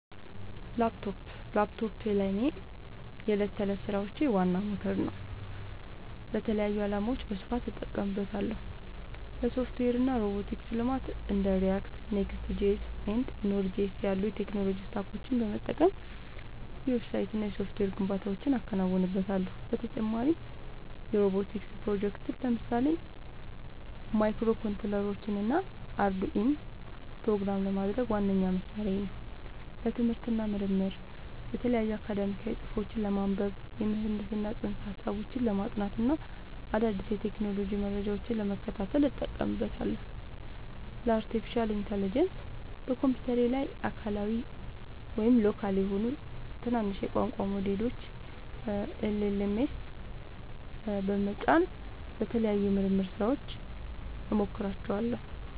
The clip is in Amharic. ላፕቶፕ ላፕቶፔ ለእኔ የዕለት ተዕለት ሥራዎቼ ዋና ሞተር ነው። ለተለያዩ ዓላማዎች በስፋት እጠቀምበታለሁ - ለሶፍትዌር እና ሮቦቲክስ ልማት እንደ React፣ Next.js እና Node.js ያሉ የቴክኖሎጂ ስታኮችን በመጠቀም የዌብሳይትና የሶፍትዌር ግንባታዎችን አከናውንበታለሁ። በተጨማሪም የሮቦቲክስ ፕሮጀክቶችን (ለምሳሌ ማይክሮኮንትሮለሮችንና አርዱኢኖን) ፕሮግራም ለማድረግ ዋነኛ መሣሪያዬ ነው። ለትምህርት እና ምርምር የተለያዩ አካዳሚያዊ ጽሑፎችን ለማንበብ፣ የምህንድስና ፅንሰ-ሀሳቦችን ለማጥናት እና አዳዲስ የቴክኖሎጂ መረጃዎችን ለመከታተል እጠቀምበታለሁ። ለአርቲፊሻል ኢንተለጀንስ (AI) በኮምፒውተሬ ላይ አካባቢያዊ (local) የሆኑ ትናንሽ የቋንቋ ሞዴሎችን (LLMs) በመጫን ለተለያዩ የምርምር ሥራዎች እሞክራቸዋለሁ።